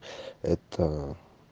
это